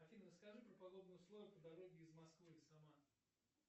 афина расскажи про погодные условия по дороге из москвы в самару